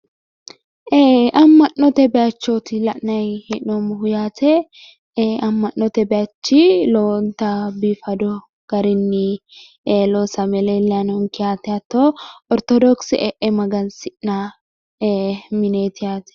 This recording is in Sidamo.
ee amma'note bayichooti la'nayi hee'noommohu yaate ee amma'note bayichi lowonta biifado garinni loosame leellayi noonke yaate hatto ortodokise e'e magansidhanno mineeti yaate